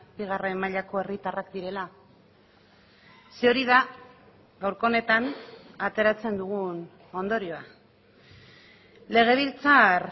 bigarren mailako herritarrak direla ze hori da gaurko honetan ateratzen dugun ondorioa legebiltzar